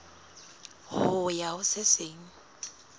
ho ya ho se seng